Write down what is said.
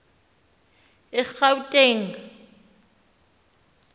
egauteng